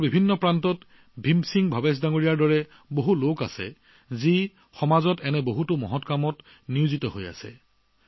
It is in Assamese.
দেশৰ বিভিন্ন প্ৰান্তত ভীম সিং ভৱেশ জীৰ দৰে আন বহু লোক সমাজত এনে ভাল কামৰ লগত জড়িত হৈ আছে